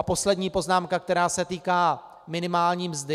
A poslední poznámka, která se týká minimální mzdy.